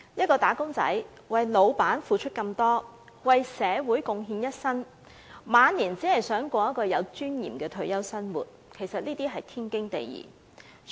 僱員為僱主付出那麼多，為社會貢獻一生，期望退休後能有尊嚴地生活，實是天經地義的事。